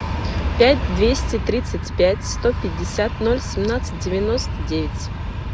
пять двести тридцать пять сто пятьдесят ноль семнадцать девяносто девять